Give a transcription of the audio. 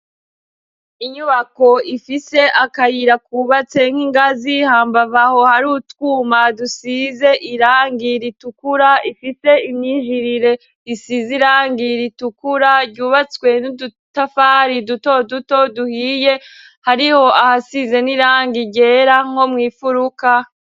Inyubako ifise akayira kubatse nk'ingazi hambavu aho hari utwuma dusize irangi ritukura, ifise imyijirire isize irangi ritukura ryubatswe n'udutafari duto duto duhiye, hariho ahasize n'irangi ryera nko mw'imfuruka.